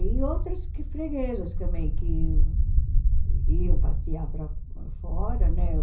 E outras freguesas também, que iam passear para para fora, né?